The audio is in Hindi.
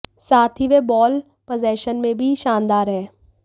साथ ही वह बॉल पजेशन में भी शानदार है